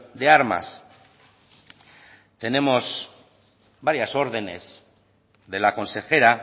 de armas tenemos varias órdenes de la consejera